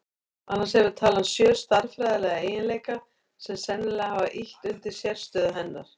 Annars hefur talan sjö stærðfræðilega eiginleika sem sennilega hafa ýtt undir sérstöðu hennar.